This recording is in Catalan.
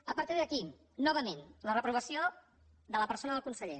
a partir d’aquí novament la reprovació de la persona del conseller